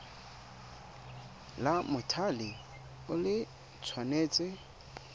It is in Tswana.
la mothale o le tshwanetse